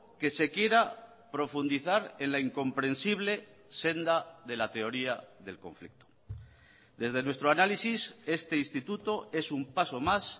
que se quiera profundizar en la incomprensible senda de la teoría del conflicto desde nuestro análisis este instituto es un paso más